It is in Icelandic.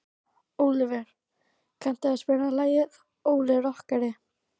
Ólíver, kanntu að spila lagið „Óli rokkari“?